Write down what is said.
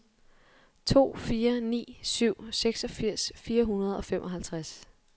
to fire ni syv seksogfirs fire hundrede og femoghalvtreds